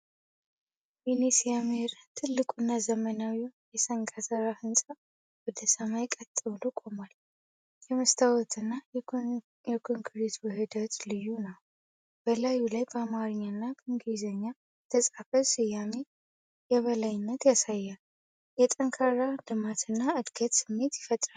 ወይኔ ሲያምር! ትልቁ እና ዘመናዊው የ**"ሰንጋተራ"** ህንፃ ወደ ሰማይ ቀጥ ብሎ ቆሟል። የመስታወት እና የኮንክሪት ውህደቱ ልዩ ነው። በላዩ ላይ በአማርኛ እና እንግሊዝኛ የተፃፈው ስያሜ የበላይነትን ያሳያል። የጠንካራ ልማት እና ዕድገት ስሜት ይፈጥራል።